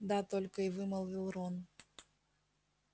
да-а только и вымолвил рон